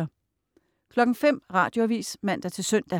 05.00 Radioavis (man-søn)